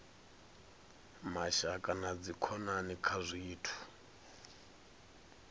mashaka na dzikhonani kha zwithu